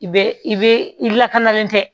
I bɛ i bɛ i lakanalen tɛ